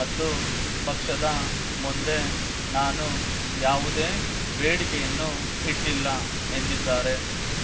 ಮತ್ತು ಪಕ್ಷದ ಮುಂದೆ ನಾನು ಯಾವುದೇ ಬೇಡಿಕೆಯನ್ನೂ ಇಟ್ಟಿಲ್ಲ ಎಂದಿದ್ದಾರೆ